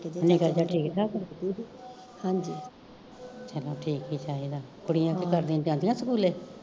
ਨਿੱਕਾ ਜਿਹਾ ਠੀਕ ਠਾਕ ਚਲੋ ਠੀਕ ਈ ਚਾਹੀਦਾ ਕੁੜੀਆ ਕੀ ਕਰਦੀਆ ਜਾਂਦੀਆ ਸਕੂਲੇ